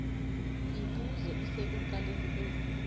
mibuzo isekuqalekeni kwesi